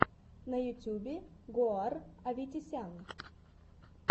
на ютубе гоар аветисян